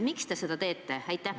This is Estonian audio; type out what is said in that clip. Miks te seda teete?